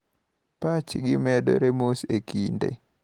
Patch gi medore mos e kinde.